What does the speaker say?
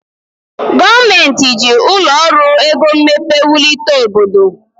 Gọọmenti ji ụlọ ọrụ ego mmepe wulite obodo.